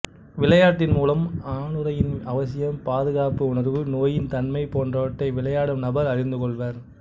விளையாட்டின் மூலம் ஆணுறையின் அவசியம் பாதுகாப்பு உணர்வு நோயின் தன்மை போன்றவற்றை விளையாடும் நபர் அறிந்து கொள்வர்